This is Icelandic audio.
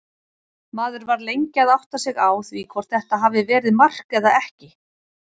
Maður var lengi að átta sig á því hvort þetta hafi verið mark eða ekki.